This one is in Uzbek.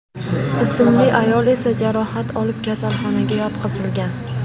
ismli ayol esa jarohat olib kasalxonaga yotqizilgan.